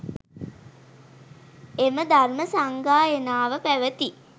එම ධර්ම සංගායනාව පැවැති